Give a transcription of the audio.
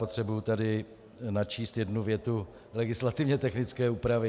Potřebuji tady načíst jednu větu legislativně technické úpravy.